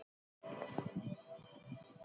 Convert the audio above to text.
Elsku stjúpa.